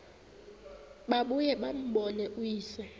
babuye bambone uyise